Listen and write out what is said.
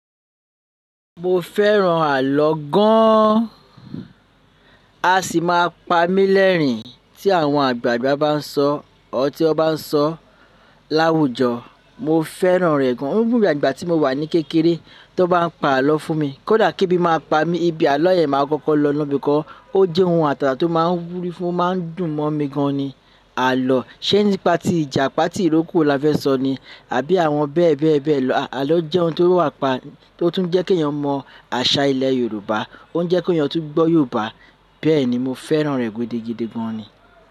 Mo fẹ́ràn àlọ́ gan an. A sì máa pa mí lẹ́rìn-ín tí àwọn àgbààgbà bá ń sọ ọ́ tí wọ́n bá ń sọ láwùjọ. Mo fẹ́ràn rẹ̀ gan. Ó ń ìgbà tí mo wà ní kékeré tó bá ń pa àlọ́ fún mi. Kódà kí ebí máa pa mí, ibi àlọ́ yẹn màá kọ́kọ́ lọ no bí kọ́. Ó jẹ́ ohun àtàtà tó máa ń wúrí fún, ó máa ń dùn mọ́ mi gan ni àlọ́. Ṣé nípa ti ìjàpà tí ìrókò la fẹ́ sọ ni? Àbí àwọn bẹ́ẹ̀ bẹ́ẹ̀ bẹ́ẹ̀ lọ. Àlọ́ jẹ́ ohun tó wá pa, tó tún jẹ́ kí èèyàn mọ àṣà ilẹ̀ Yorùbá, ó ń jẹ́ kí èèyàn tún gbọ́ Yorùbá. Bẹ́ẹ̀ ni, mo fẹ́ràn rẹ̀ gidi gidigan ni.